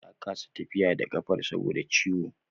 Ta kasa tafiya da kafar saboda ciwo